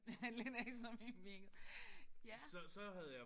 Lidt ekstra mimikket. Ja